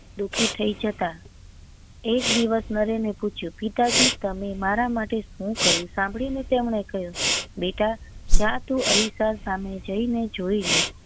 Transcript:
દુખી થઇ જતા એક દિવસ નરેન એ પૂછ્યું પિતાજી તમે મારા માટે શું કર્યું સાંભળી ને તેમને કહ્યું બેટા જા તું જી ને અરીસા સામે જી ને જોઈ લે